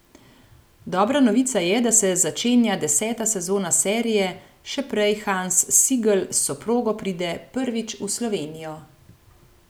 Dobra novica je, da se začenja deseta sezona serije, še prej Hans Sigl s soprogo pride prvič v Slovenijo.